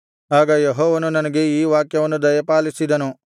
ಆಗ ಯೆಹೋವನು ನನಗೆ ಈ ವಾಕ್ಯವನ್ನು ದಯಪಾಲಿಸಿದನು